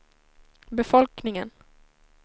befolkningen